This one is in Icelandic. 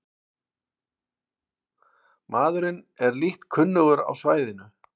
Maðurinn er lítt kunnugur á svæðinu